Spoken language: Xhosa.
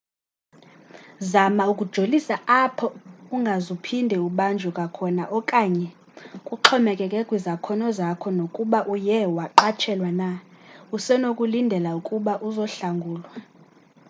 zama ukujolisa apho ungazuphinde ubanjwe kwakhona okanye kuxhomekeke kwizakhono zakho nokuba uye waqatshelwa na usenokulindela ukuba uzohlangulwa